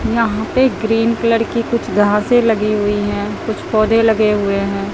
यहां पर green colour की कुछ घासे लगी हुई है कुछ पौधे लगे हुए हैं।